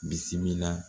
Bisimila